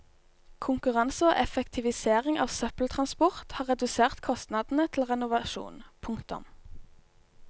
Konkurranse og effektivisering av søppeltransport har redusert kostnadene til renovasjon. punktum